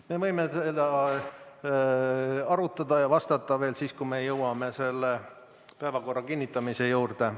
Me võime seda arutada ja vastata veel siis, kui me jõuame päevakorra kinnitamise juurde.